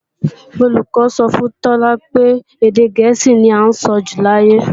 Olùkọ́ sọ fún Tọ́lá pé èdè gẹ̀ẹ́sì ní à ń sọjù láyé